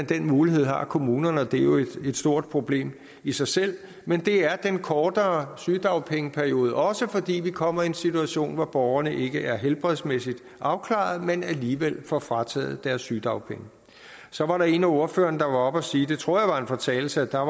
den mulighed har kommunerne og det er jo et stort problem i sig selv men det er den kortere sygedagpengeperiode også fordi vi kommer i en situation hvor borgerne ikke er helbredsmæssigt afklaret men alligevel får frataget deres sygedagpenge så var der en af ordførerne der var oppe og sige og det tror jeg var en fortalelse at der